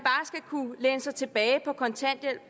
er sig tilbage på kontanthjælp